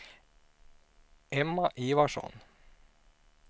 Emma Ivarsson